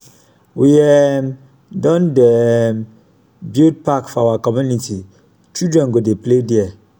we um don um dey build park for our community children go dey play there.